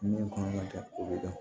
Min kan ka kɛ o bɛ dɔn